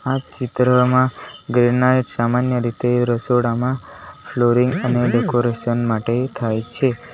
આ ચિત્રમાં ગ્રેનાઈટ સામાન્ય રીતે રસોડામાં ફ્લોરિંગ અને ડેકોરેશન માટે થાય છે.